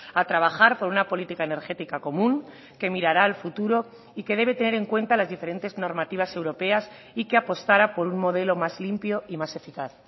a trabajar por una política energética común que mirará al futuro y que debe tener en cuenta las diferentes normativas europeas y que apostara por un modelo más limpio y más eficaz